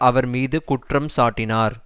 அவர் மீது குற்றம் சாட்டினார்